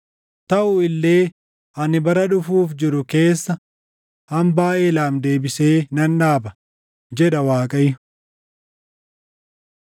“Taʼu illee ani bara dhufuuf jiru keessa hambaa Eelaam deebisee nan dhaaba” jedha Waaqayyo.